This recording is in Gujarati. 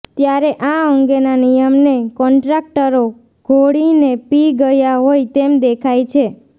ત્યારે આ અંગેના નિયમને કોન્ટ્રાક્ટરો ઘોળીને પી ગયા હોય તેમ દેખાય છે